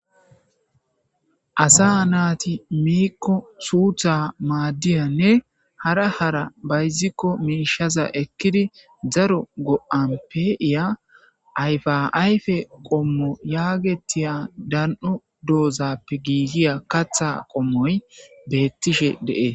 Asa naati miikko suutha maaddiyanne hara hara bayzikko miishaza ekkidi dzaro go7an pe7iya ayfa ayfe qommo yaagettiya dan7o doozappe giigiya katha qommoy beettishe de7ee